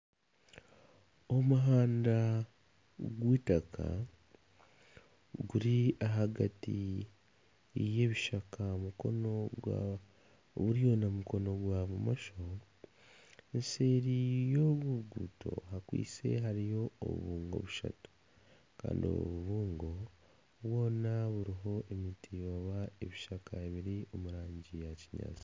Omuhanda gw'eitaka guri ahagati yebishaka aha mukono gwa buryo n'omukono gw'abumosho. Eseeri y'oruruguto hariyo obubungo bushatu kandi obu bubungo bwona buriho emiti oba ebishaka biri omu rangi ya kinyaatsi.